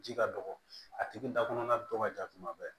Ji ka dɔgɔ a tigi da kɔnɔna dɔgɔ ka ja kuma bɛɛ